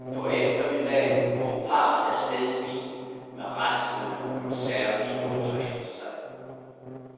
Hen på eftermiddagen drog parret af sted i bil med raslende konservesdåser efter sig.